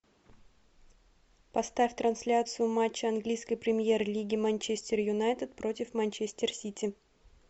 поставь трансляцию матча английской премьер лиги манчестер юнайтед против манчестер сити